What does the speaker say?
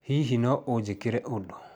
Hihi no ũnjĩkĩre ũndũ?